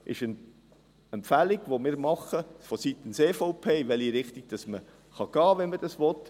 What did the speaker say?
Der Punkt 2 ist eine Empfehlung vonseiten der EVP, in welche Richtung man gehen kann, wenn man das will.